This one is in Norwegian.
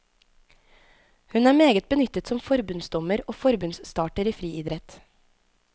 Hun er meget benyttet som forbundsdommer og forbundsstarter i friidrett.